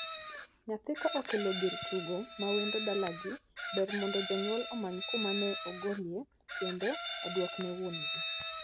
Nyathi ka okelo gir tugo ma wendo dalagi, ber mondo janyuol omany kuma ne ogolie kendo oduokne wuongi.